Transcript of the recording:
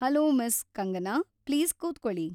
Hello miss. Kangana! Please ಕೂತ್ಕೊಳಿ.